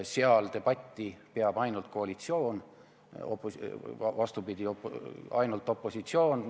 Komisjonis peab debatti ainult opositsioon.